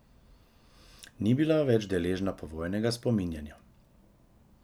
Ni bila več deležna povojnega spominjanja.